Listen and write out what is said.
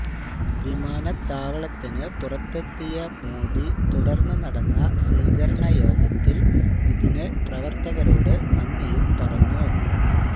വിമാനത്താവളത്തിന് പുറത്തെത്തിയ മോദി തുടര്ന്ന് നടന്ന സ്വീകരണ യോഗത്തില് ഇതിന് പ്രവര്ത്തകരോട് നന്ദിയും പറഞ്ഞു